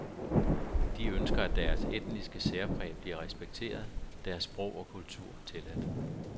De ønsker, at deres etniske særpræg bliver respekteret, deres sprog og kultur tilladt.